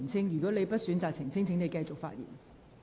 如果你選擇不澄清，請繼續發言。